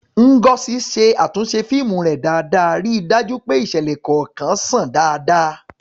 Ngozi ṣe àtúnṣe fíìmù rẹ̀ dáadáa, ríi dájú pé ìṣẹ̀lẹ̀ kọ̀ọ̀kan ṣàn dáadáa.